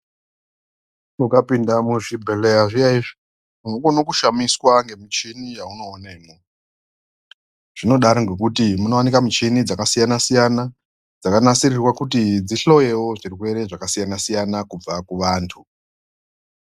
Ukapinda muzvibhehlera zviya izvi unokone kushamiswa ngemuchini yaunoonemwe zvinodaro ngekuti munowanikwa muchini dzakasiyana siyana dzakanasirirwa kuti dzihloyewo zvirwere zvakasiyana siyana kubve vantu.